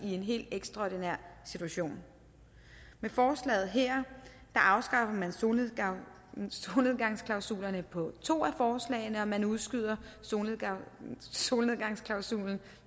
i en helt ekstraordinær situation med forslaget her afskaffer man solnedgangsklausulerne på to af forslagene og man udskyder solnedgangsklausulen